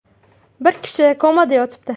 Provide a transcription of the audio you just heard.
Bir kishi komada yotibdi.